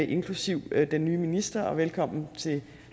inklusive den nye minister og velkommen til